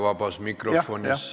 Vabas mikrofonis ei saa lisaaega.